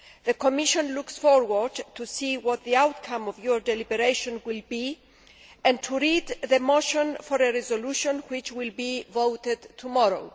The Commission looks forward to seeing the outcome of your deliberations and to read the motion for a resolution which will be voted on tomorrow.